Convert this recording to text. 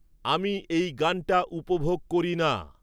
আমি এই গানটা উপভোগ করি না